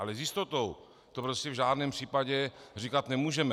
Ale s jistotou to prostě v žádném případě říkat nemůžeme.